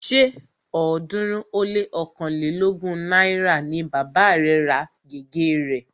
Ṣé ọ̀ọ́dúnrún ó lé ọ̀kánlelógún náírà ni bàba rẹ̀ ra gègé rẹ̀